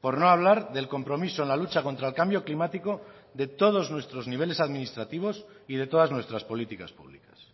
por no hablar del compromiso en la lucha contra el cambio climático de todos nuestros niveles administrativos y de todas nuestras políticas públicas